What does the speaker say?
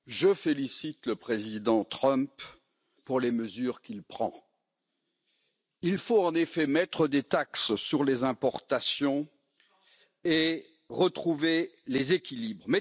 Monsieur le Président, je félicite le président Trump pour les mesures qu'il prend. Il faut en effet mettre des taxes sur les importations et retrouver les équilibres.